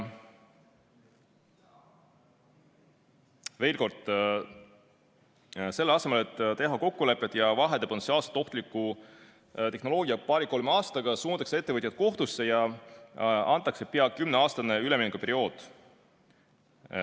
Veel kord: selle asemel et teha kokkuleppeid ja vahetada potentsiaalselt ohtlik tehnoloogia paari‑kolme aasta jooksul välja, suunatakse ettevõtjad kohtusse ja antakse peaaegu kümneaastane üleminekuperiood.